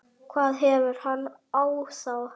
hvað hefur hann á þá?